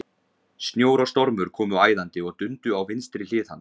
Snjór og stormur komu æðandi og dundu á vinstri hlið hans.